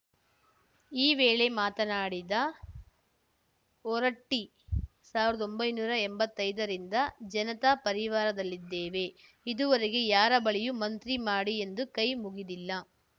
ಈ ವೇಳೆ ಮಾತನಾಡಿದ ಹೊರಟ್ಟಿ ಸಾವಿರ್ದೊಂಭೈನೂರಾ ಎಂಬತ್ತೈದರಿಂದ ಜನತಾ ಪರಿವಾರದಲ್ಲಿದ್ದೇವೆ ಇದುವರೆಗೆ ಯಾರ ಬಳಿಯೂ ಮಂತ್ರಿ ಮಾಡಿ ಎಂದು ಕೈ ಮುಗಿದಿಲ್ಲ